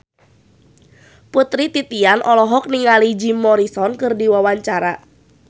Putri Titian olohok ningali Jim Morrison keur diwawancara